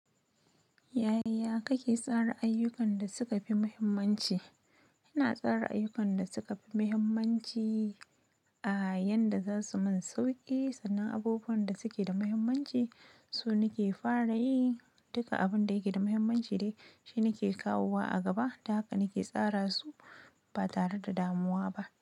Yaya kake tsara ayyukan da suka fi muhimmanci? Ina tsara ayukkan da suka fi mahimmanci a yanda zasu min sauki sannan abubuwan da suke da mahimmanci sun nake fara yi, dukka abinda yafi mahimmanci dai shi nake kawowa a gaba ta haka nake tsara su. Ba tare da damuwa ba.